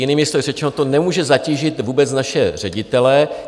Jinými slovy řečeno, to nemůže zatížit vůbec naše ředitele.